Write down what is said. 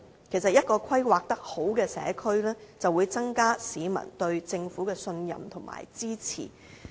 其實一個規劃良好的社區，可以增加市民對政府的信任和支持。